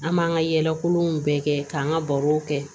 An m'an ka yɛlɛ kolonw bɛɛ kɛ k'an ka barow kɛ